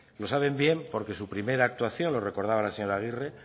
lo saben bien porque su primera actuación lo recordaba la señora agirre